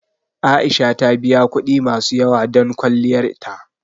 A'isha ta biya kuɗi masu yawa don kwalliyar ta.